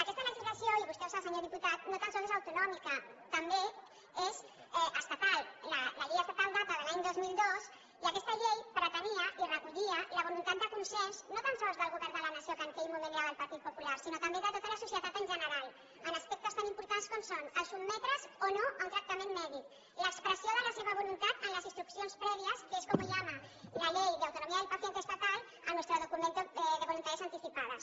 aquesta legislació i vostè ho sap senyor diputat no tan sols és autonòmica també és estatal la llei estatal data de l’any dos mil dos i aquesta llei pretenia i recollia la voluntat de consens no tan sols del govern de la nació que en aquell moment era del partit popular sinó també de tota la societat en general en aspectes tan importants com són sotmetre’s o no a un tractament mèdic l’expressió de la seva voluntat en les instruccions prèvies que es como llama la ley de autonomía del paciente estatal a nuestro documento de voluntades anticipadas